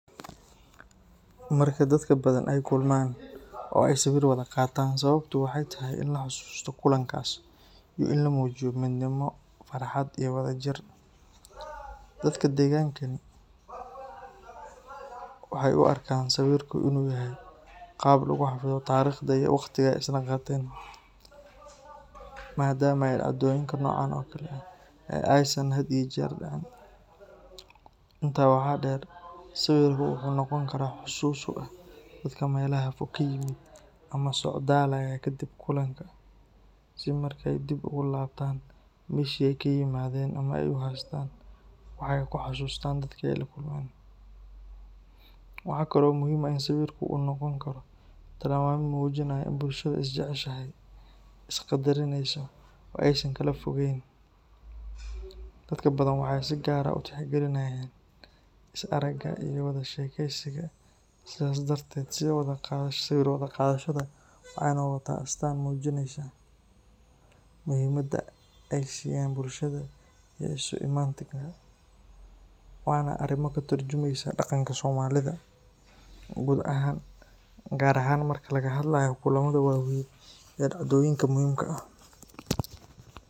Marka dadka Badhan ay kulmaan oo ay sawir wada qaatan, sababtu waxay tahay in la xasuusto kulankaas iyo in la muujiyo midnimo, farxad, iyo wadajir. Dadka deegaankani waxay u arkaan sawirku inuu yahay qaab lagu xafido taariikhda iyo waqtiga ay isla qaateen, maadaama ay dhacdooyinka noocan oo kale ah aysan had iyo jeer dhicin. Intaa waxaa dheer, sawirku wuxuu noqon karaa xusuus u ah dadka meelaha fog ka yimid ama socdaalaya kadib kulanka, si markay dib ugu laabtaan meeshii ay ka yimaadeen ay u haystaan wax ay ku xasuustaan dadkii ay la kulmeen. Waxa kale oo muhiim ah in sawirku uu noqon karo tilmaame muujinaya in bulshadu is jeceshahay, is qadarinayso oo aysan kala fogeyn. Dadka Badhan waxay si gaar ah u tixgeliyaan is aragga iyo wada sheekeysiga, sidaas darteed sawir wada qaadashada waxay noqotaa astaan muujinaysa muhiimadda ay siiyaan bulshada iyo isu imaatinka. Waana arrin ka tarjumaysa dhaqanka Soomaalida guud ahaan, gaar ahaan marka laga hadlayo kulamada waaweyn iyo dhacdooyinka muhiimka ah.